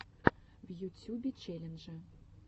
в ютьюбе челленджи